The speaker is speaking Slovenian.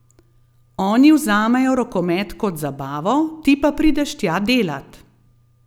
Oni vzamejo rokomet kot zabavo, ti pa prideš tja delat.